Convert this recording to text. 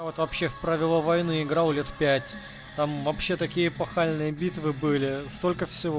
вот вообще в правила войны играл лет пять там вообще такие эпохальные битвы были столько всего